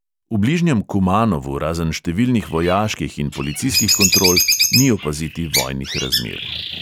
V bližnjem kumanovu razen številnih vojaških in policijskih kontrol ni opaziti vojnih razmer.